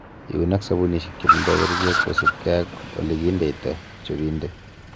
Iun ak sobunisiek chetindo kerichek kosiibge ak ele kindeito chobindet.